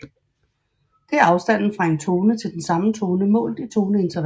Det er afstanden fra en tone til den samme tone målt i toneintervaller